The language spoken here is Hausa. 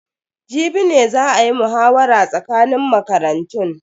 Jibi ne za a yi muhawara tsakanin makarantun.